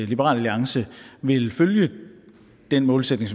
liberal alliance vil følge den målsætning